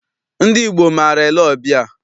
Ndị Igbo maara ele ọbịa.